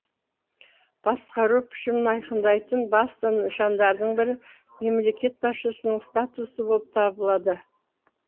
басқару пішімін айқындайтын басты нышандардың бірі мемлекет басшысының статусы болып табылады